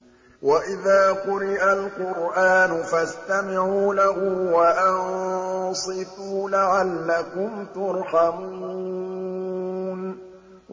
وَإِذَا قُرِئَ الْقُرْآنُ فَاسْتَمِعُوا لَهُ وَأَنصِتُوا لَعَلَّكُمْ تُرْحَمُونَ